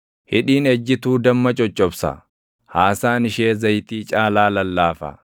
Hidhiin ejjituu damma coccobsa; haasaan ishee zayitii caalaa lallaafa;